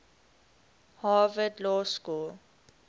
harvard law school